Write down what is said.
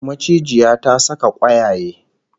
Macijiya ta saka kwayaye